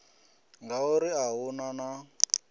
ngauri a hu na na